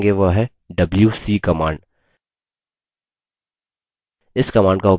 अगली command जो हम देखेंगे वह है wc command